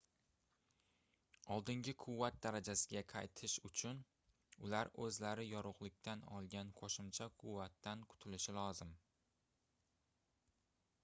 oldingi quvvat darajasiga qaytish uchun ular oʻzlari yorugʻlikdan olgan qoʻshimcha quvvatdan qutulishi lozim